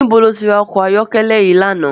Nibó ló ti rá òkò àyòkèlè yi làná?